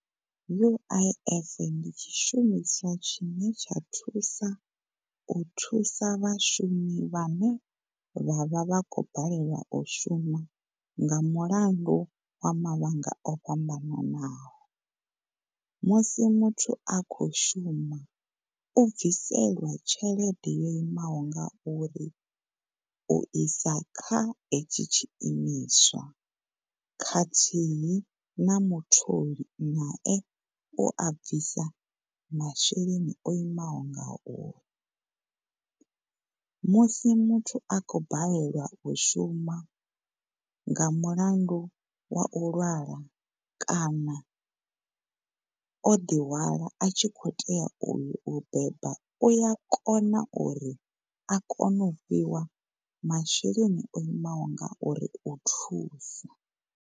U_I_F ndi tshi shumiswa tshine tsha thusa, u thusa vha shumi vha ne vhavha vha khou balelwa u shuma nga mulandu wa mafhungo o fhambanaho. Musi muthu a kho u shuma u bviselwa tshelede yo imaho ngauri u isa kha tshetshi tshiimiswa khathihi na mutholi nae u a bvisa masheleni o imaho ngao musi muthu a khou balelwa u shuma nga mulandu wa u lwala kana o ḓi hwala a tshi khou tea u yo u beba uya kona uri a kone u fhiwa masheleni o imaho ngauri u thusa.